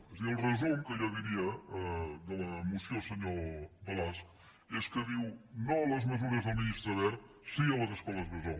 és a dir el resum que jo diria de la moció senyor balasch és que diu no a les mesures del ministre wert sí a les escoles bressol